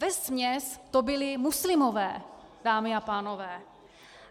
Vesměs to byli muslimové, dámy a pánové.